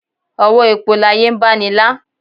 òwọ èpo láye ń baní lá